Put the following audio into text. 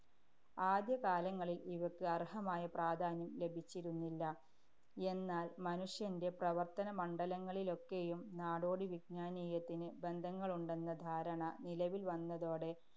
ആദ്യകാലങ്ങളില്‍ ഇവയ്ക്ക് അര്‍ഹമായ പ്രാധാന്യം ലഭിച്ചിരുന്നില്ല. എന്നാല്‍, മനുഷ്യന്‍റെ പ്രവര്‍ത്തനമണ്ഡലങ്ങളിലൊക്കെയും നാടോടി വിജ്ഞാനീയത്തിന് ബന്ധങ്ങളുണ്ടെന്ന ധാരണ നിലവില്‍ വന്നതോടെ